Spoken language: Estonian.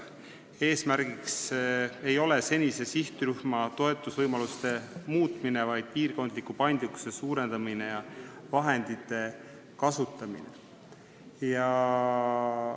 Eesmärk ei ole muuta senise sihtrühma toetamise võimalusi, vaid suurendada piirkondlikku paindlikkust ja parandada vahendite kasutamist.